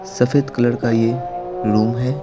सफेद कलर का ये रूम है।